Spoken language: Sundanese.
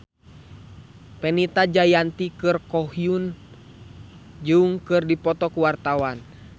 Fenita Jayanti jeung Ko Hyun Jung keur dipoto ku wartawan